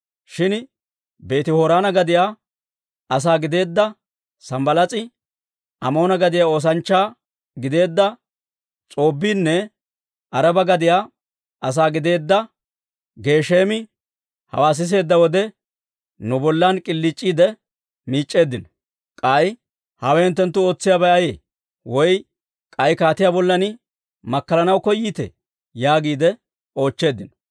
Shin Beeti-Horoona gadiyaa asaa gideedda Sanbbalaas'i, Amoona gadiyaa oosanchchaa gideedda S'oobbiinne Araba gadiyaa asaa gideedda Geesheemi hawaa siseedda wode, nu bollan k'iliic'iide miic'c'eeddino. K'ay, «Hawe hinttenttu ootsiyaabay ayee? Woy k'ay kaatiyaa bollan makkalanaw koyiitee?» yaagiide oochcheeddino.